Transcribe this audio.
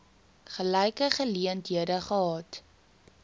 gelyke geleenthede gehad